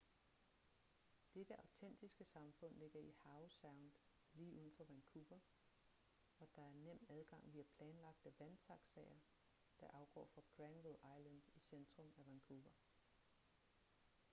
dette autentiske samfund ligger i howe sound lige uden for vancouver og der er nem adgang via planlagte vandtaxaer der afgår fra granville island i centrum af vancouver